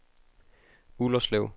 Ullerslev